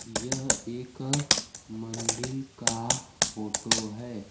यह एक मंदिल का फोटो है।